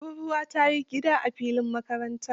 Tururwa ta yi gida a filin makarantar.